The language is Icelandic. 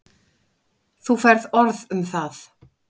Þú færð orð um það.